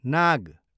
नाग